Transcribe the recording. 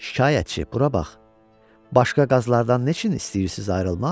Şikayətçi bura bax, başqa qazlardan neçin istəyirsiz ayrılmaq?